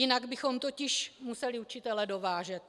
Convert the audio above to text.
Jinak bychom totiž museli učitele dovážet.